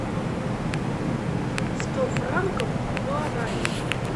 сто франков в гуарани